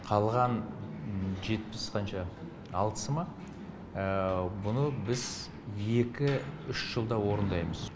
қалған жетпіс қанша алтысы ма бұны біз екі үш жылда орындаймыз